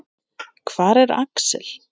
Hvar er Axel?